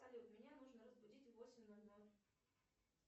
салют меня нужно разбудить в восемь ноль ноль